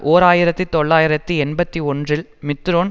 ஓர் ஆயிரத்தி தொள்ளாயிரத்தி எண்பத்தி ஒன்றில் மித்திரோன்